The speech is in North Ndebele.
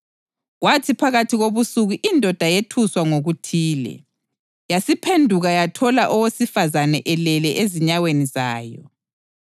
Kwathi phakathi kobusuku indoda yethuswa ngokuthile, yasiphenduka yathola owesifazane elele ezinyaweni zayo.